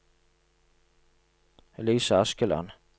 Elise Askeland